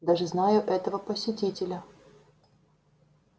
даже знаю этого посетителя